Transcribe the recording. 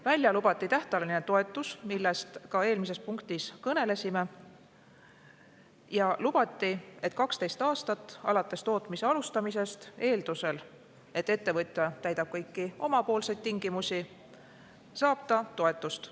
Välja lubati tähtajaline toetus, millest ka eelmises punktis kõnelesime, ja lubati, et 12 aastat alates tootmise alustamisest, eeldusel, et ettevõtja täidab omalt poolt kõiki tingimusi, saab ta toetust.